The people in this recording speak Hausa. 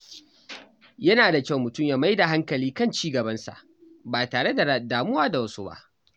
Yana da kyau mutum ya mai da hankali kan ci gabansa ba tare da damuwa da wasu ba.